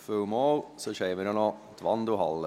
Wir haben dafür sonst auch noch die Wandelhalle.